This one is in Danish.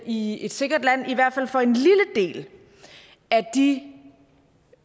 i et sikkert land i hvert fald for en lille del af de